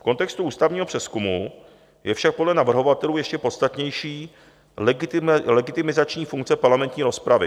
V kontextu ústavního přezkumu je však podle navrhovatelů ještě podstatnější legitimizační funkce parlamentní rozpravy.